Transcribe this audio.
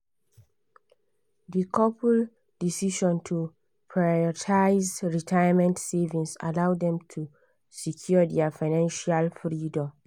di couple decision to prioritize retirement savings allow dem to secure their financial freedom.